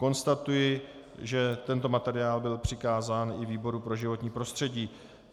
Konstatuji, že tento materiál byl přikázán i výboru pro životní prostředí.